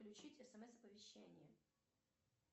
включить смс оповещение